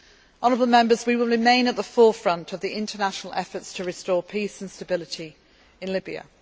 to that list. Honourable Members, we will remain at the forefront of the international efforts to restore peace and stability